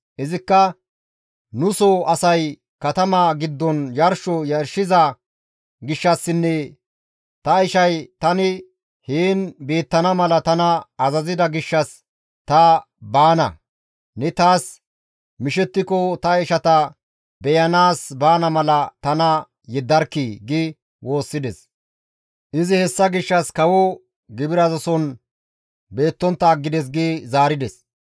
Izikka, ‹Nu soo asay katama giddon yarsho yarshiza gishshassinne ta ishay tani heen beettana mala tana azazida gishshas ta baana; ne taas mishettiko ta ishata beyanaas baana mala tana yeddarkkii!› gi woossides; izi hessa gishshas kawo gibirazason beettontta aggides» gi zaarides.